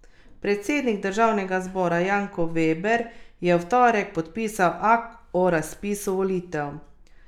Predsednik državnega zbora Janko Veber je v torek podpisal akt o razpisu volitev.